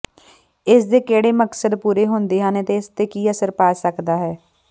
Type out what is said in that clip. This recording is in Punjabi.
ਇਸ ਦੇ ਕਿਹੜੇ ਮਕਸਦ ਪੂਰੇ ਹੁੰਦੇ ਹਨ ਅਤੇ ਇਸ ਤੇ ਕੀ ਅਸਰ ਪਾ ਸਕਦਾ ਹੈ